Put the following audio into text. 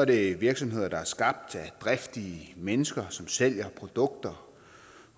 er det virksomheder der er skabt af driftige mennesker som sælger produkter